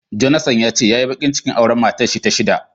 Jonathan yace yayi bakin cikin auren matarshi ta shida.